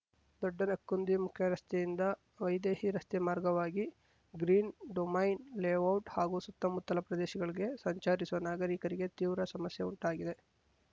ದೊಡ್ಡನೆಕ್ಕುಂದಿ ಮುಖ್ಯರಸ್ತೆಯಿಂದ ವೈದೇಹಿ ರಸ್ತೆ ಮಾರ್ಗವಾಗಿ ಗ್ರೀನ್‌ ಡೊಮೈನ್‌ ಲೇಔಟ್‌ ಹಾಗೂ ಸುತ್ತಮುತ್ತಲ ಪ್ರದೇಶಗಳಿಗೆ ಸಂಚರಿಸುವ ನಾಗರಿಕರಿಗೆ ತೀವ್ರ ಸಮಸ್ಯೆ ಉಂಟಾಗಿದೆ